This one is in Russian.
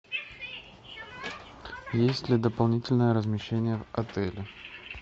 есть ли дополнительное размещение в отеле